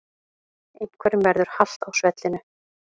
Einhverjum verður halt á svellinu